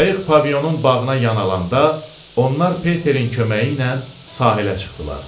Qayıq Pavilyonun bağına yan alanda onlar Peterin köməyi ilə sahilə çıxdılar.